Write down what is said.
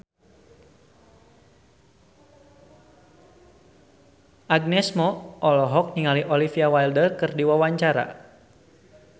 Agnes Mo olohok ningali Olivia Wilde keur diwawancara